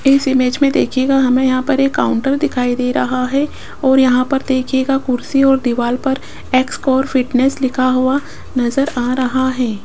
इस इमेज में देखिएगा हमें यहां पर एक काउंटर दिखाई दे रहा है और यहां पर देखिएगा कुर्सी और दीवाल पर एक्स कोर फिटनेस लिखा हुआ नजर आ रहा है।